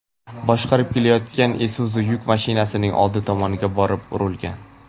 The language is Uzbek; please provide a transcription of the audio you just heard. boshqarib kelayotgan Isuzu yuk mashinasining oldi tomoniga borib urilgan.